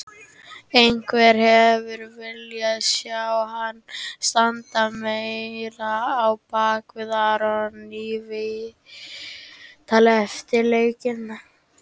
Einhverjir hefðu viljað sjá hann standa meira á bakvið Aron í viðtali eftir leikinn.